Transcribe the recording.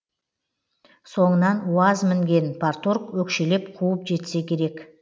соңынан уаз мінген парторг өкшелеп қуып жетсе керек